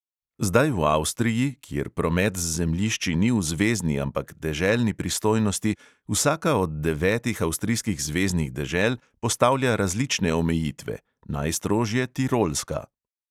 Zdaj v avstriji, kjer promet z zemljišči ni v zvezni, ampak deželni pristojnosti, vsaka od devetih avstrijskih zveznih dežel postavlja različne omejitve, najstrožje tirolska.